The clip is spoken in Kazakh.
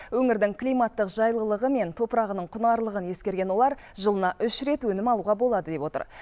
өңірдің климаттық жайлылығы мен топырағының құнарлығын ескерген олар жылына үш рет өнім алуға болады деп отыр